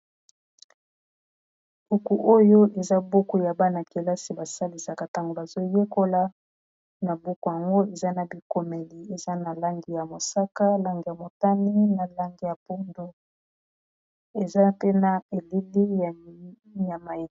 Buku oyo eza buku ya bana-kelasi basalisaka tango bazoyekola na buku yango eza na bikomeli eza na langi ya mosaka langi ya motani na langi ya pondu eza pe na elili ya nyama.